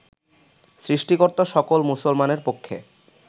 সৃষ্টিকর্তা সকল মুসলমানের পক্ষে